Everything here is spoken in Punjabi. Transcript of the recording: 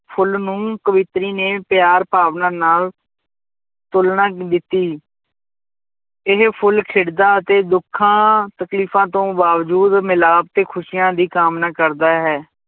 ਫੁੱਲ ਨੂੰ ਕਵਿਤਰੀ ਨੇ ਪਿਆਰ ਭਾਵਨਾ ਨਾਲ ਤੋਲਣਾ ਦਿੱਤੀ ਇਹ ਫੁੱਲ ਖਿੜਦਾ ਅਤੇ ਦੁੱਖਾਂ ਤਕਲੀਫ਼ਾਂ ਤੋਂ ਬਾਵਜ਼ੂਦ ਮਿਲਾਪ ਤੇ ਖ਼ੁਸ਼ੀਆਂ ਦੀ ਕਾਮਨਾ ਕਰਦਾ ਹੈ